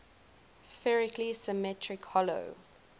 spherically symmetric hollow